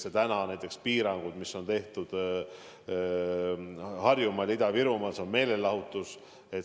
Täna kehtivad näiteks piirangud meelelahutuses Harjumaal ja Ida-Virumaal.